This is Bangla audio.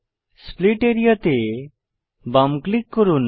স্প্লিট আরিয়া তে বাম ক্লিক করুন